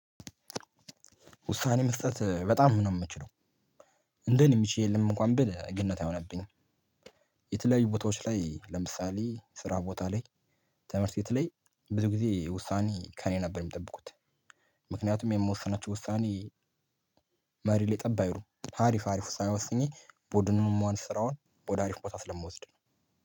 ውሳኔ መስጠት በጣም ነው የምችለው እንደኔ የሚችል የለም እንኳን ብል ግነት አይሆነብኝ። የተለያዩ ቦታዎች ላይ ለምሳሌ ስራ ቦታ ላይ ትምርት ቤት ላይ ብዙ ጊዜ ውሳኔ ከእኔ ነበር የምጠብቁት። ምክንያቱም የምወሰናቸው ውሳኔ። መሬት ላይ ጠብ አይሉም ሀሪፍ አሪፍ ውሳኔ ወስኜ ቡድኑን መዋንስ ስራውን ወደ አሪፍ ቦታ ስለምወስድ ነው።